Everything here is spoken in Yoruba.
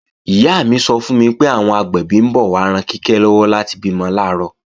Ìyá mi sọ fún mi pé, àwọn agbẹ̀bí ń bọ̀ wá ran Kíkẹ́ lọ́wọ́ láti bímọ làárọ̀